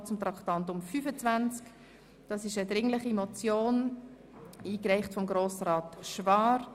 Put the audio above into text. Wir kommen zum Traktandum 25, einer dringlichen Motion, eingereicht von Grossrat Schwaar: